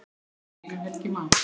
Þinn vinur, Helgi Már.